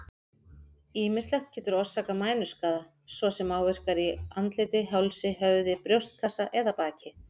Ýmislegt getur orsakað mænuskaða, svo sem áverkar á andliti, hálsi, höfði, brjóstkassa eða baki.